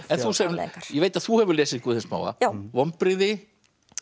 afleiðingar ég veit að þú hefur lesið Guð hins smáa vonbrigði